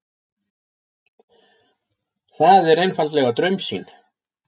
Það er einfaldlega draumsýn.